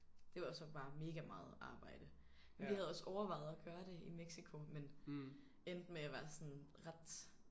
Det var så bare mega meget arbejde. Vi havde også overvejet at gøre det i Mexico men endte med at være sådan ret